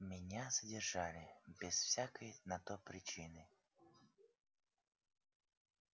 меня задержали без всякой на то причины